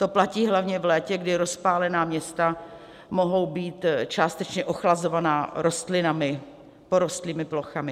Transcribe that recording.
To platí hlavně v létě, kdy rozpálená města mohou být částečně ochlazovaná rostlinami porostlými plochami.